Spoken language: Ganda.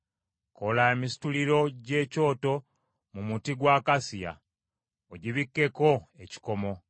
Kola emisituliro gy’ekyoto mu muti gwa akasiya, ogibikkeko ekikomo.